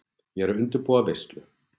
Ég er að undirbúa veislu.